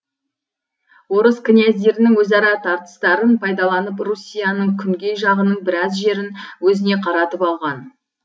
орыс князьдерінің өзара тартыстарын пайдаланып руссияның күнгей жағының біраз жерін өзіне қаратып алған